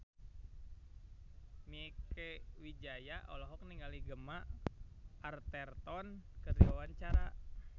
Mieke Wijaya olohok ningali Gemma Arterton keur diwawancara